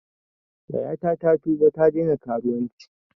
Yayata ta tuba ta daina karuwanci